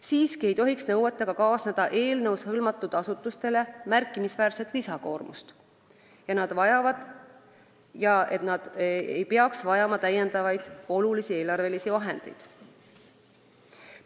Siiski ei tohiks nõuetega kaasneda eelnõus hõlmatud asutustele märkimisväärset lisakoormust ja nad ei peaks vajama olulisi eelarvelisi lisavahendeid.